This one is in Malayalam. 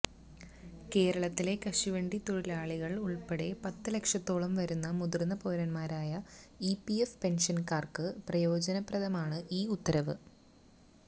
കേരളത്തിലെ കശുവണ്ടി തൊഴിലാളികള് ഉള്പ്പെടെ പത്ത് ലക്ഷത്തോളംവരുന്ന മുതിര്ന്ന പൌരന്മാരായ ഇപിഎഫ് പെന്ഷന്കാര്ക്ക് പ്രയോജനപ്രദമാണ് ഈ ഉത്തരവ്